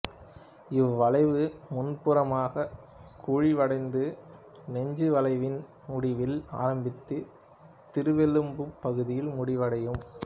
இவ்வளைவு முன்புறமாகக் குழிவடைந்து நெஞ்சு வளைவின் முடிவில் ஆரம்பித்து திருவெலும்புப் பகுதியில் முடிவடையும்